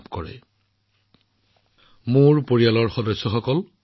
৩১ অক্টোবৰতো প্ৰাক্তন প্ৰধানমন্ত্ৰী শ্ৰীমতী ইন্দিৰা গান্ধীৰ মৃত্যু বাৰ্ষিকী